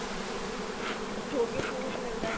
ਜੋ ਵੀ ਉਸਨੂੰ ਕੁੱਝ ਮਿਲਦਾ